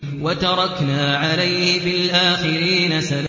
وَتَرَكْنَا عَلَيْهِ فِي الْآخِرِينَ